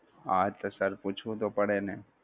હા છે sir પૂછવું તો પડે ને